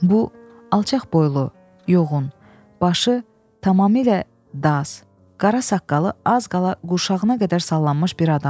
Bu alçaqboylu, yoğun, başı tamamilə daz, qara saqqalı az qala qurşağına qədər sallanmış bir adamdır.